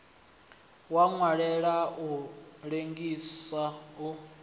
wa nwelela u lengisa u